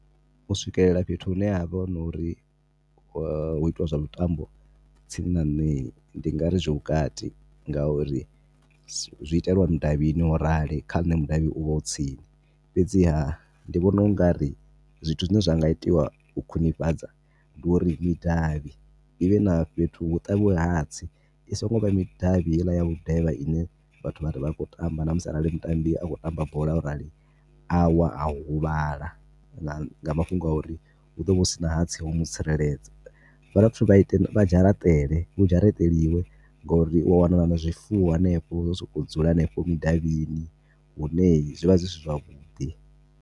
U swikelela fhethu hune ha vha hu na uri hu a itiwa zwa mitambo tsini na nṋe ndi nga ri zwi vhukati. Ngauri zwi itelwa mudavhini wa u rali, kha nṋe mudavhi u vha u tsini. Fhedziha ndi vhona u nga ri zwithu zwine zwi nga itiwa u khwinifhadza, ndi uri midavhi i vhe na fhethu, hu ṱavhiwe hatsi, i songo vha i midavhi heiḽa ya i ne vhathu vha khou tamba, na musi arali mutambi a khou tamba bola o rali a wa, a huvhala nga mafhungo a uri hu ḓo vha hu si na hatsi ha u mu tsireledza. Vha dovha futhi vha dzharaṱele, hu dzharaṱeliwe ngori u a wana na zwifuwo henefho zwo sokou dzula henefho mudavhini hune zwi vha zwi si zwavhuḓi.